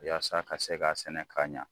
Yasa ka se k'a sɛnɛ ka ɲa